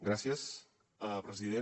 gràcies president